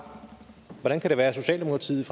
hvordan kan det være at socialdemokratiet